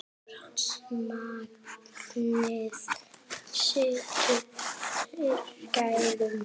Magnið situr fyrir gæðum.